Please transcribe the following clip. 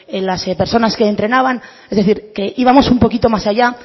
en las personas que entrenaban es decir que íbamos un poquito más allá